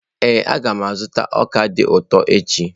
Ee, a ga m azụta ọka dị ụtọ echi.